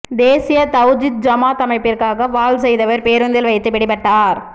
தேசிய தௌஹீத் ஜமாத் அமைப்பிற்காக வாள் செய்தவர் பேருந்தில் வைத்து பிடிபட்டார்